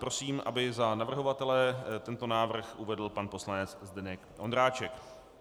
Prosím, aby za navrhovatele tento návrh uvedl pan poslanec Zdeněk Ondráček.